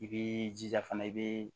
I b'i jija fana i bii